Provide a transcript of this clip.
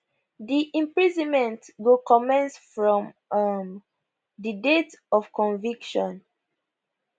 di imprisonment go commence from um di date of conviction